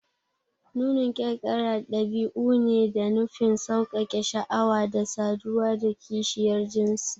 Nunin kyarkyara ɗabi'u ne da nufin sauƙaƙe sha'awa da saduwa da kishiyar jinsi